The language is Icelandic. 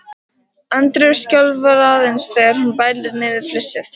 Andreu skjálfa aðeins þegar hún bælir niður flissið.